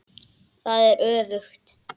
Eða var það öfugt?